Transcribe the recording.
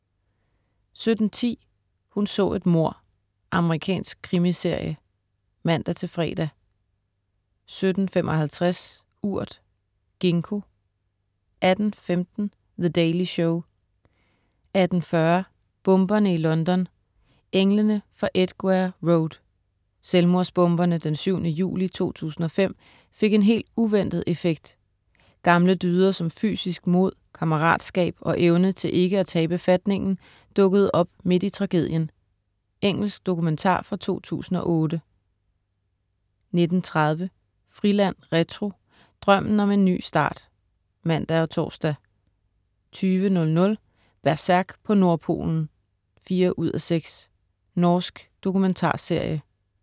17.10 Hun så et mord. Amerikansk krimiserie (man-fre) 17.55 Urt. Gingko 18.15 The Daily Show* 18.40 Bomberne i London, englene fra Edgware Road. Selvmordsbomberne den 7. juli 2005 fik en helt uventet effekt. Gamle dyder som fysisk mod, kammeratskab og evne til ikke at tabe fatningen dukkede op midt i tragedien Engelsk dokumentar fra 2008 19.30 Friland retro. Drømmen om en ny start (man og tors) 20.00 Berserk på Nordpolen 4:6. Norsk dokumentarserie